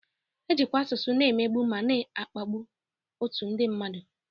Ejikwa asụsụ na-emegbu ma na-akpagbu otu ndị mmadụ